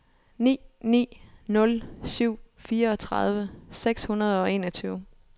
ni ni nul syv fireogtredive seks hundrede og enogtyve